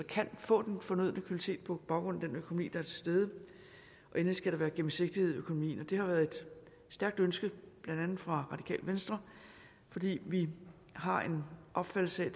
kan få den fornødne kvalitet på baggrund af den økonomi der er tilstede og endelig skal der være gennemsigtighed i økonomien det har været et stærkt ønske blandt andet fra det venstre fordi vi har en opfattelse af at